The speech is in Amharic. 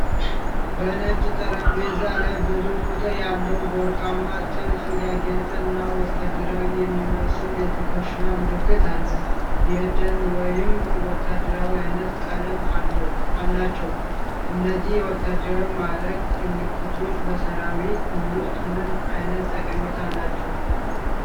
በነጭ ጠረጴዛ ላይ ብዙ ቁጥር ያለው፣ በወርቃማ ጥልፍ ያጌጠ እና ወታደራዊ የሚመስል የትከሻ ምልክት አለ። የደን ወይም ወታደራዊ ዓይነት ቀለም አላቸው። እነዚህ የወታደራዊ ማዕረግ ምልክቶች በሠራዊት ውስጥ ምን ዓይነት ጠቀሜታ አላቸው?